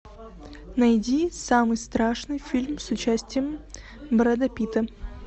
найди самый страшный фильм с участием брэда питта